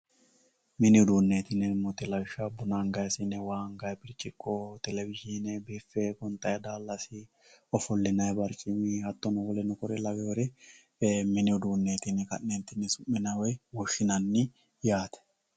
Mini uduuneti yineemmo woyte lawishshaho buna angeemmo siine, waa anganni birciqo, televizhine bife gonxanni daalasi ofollinanni barcimi kore lawinori mini uduuneti yine ka'ne su'minanni woyi woshshinanni yaate.